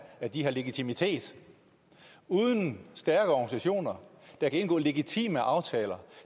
at de har legitimitet uden stærke organisationer der kan indgå legitime aftaler